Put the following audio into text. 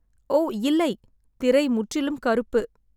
"ஓ இல்லை, திரை முற்றிலும் கருப்பு."